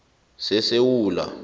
sesewula